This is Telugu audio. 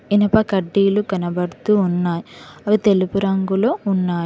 ఇనుప కడ్డీలు కనబడుతూ ఉన్నాయి అవి తెలుపు రంగులో ఉన్నాయి.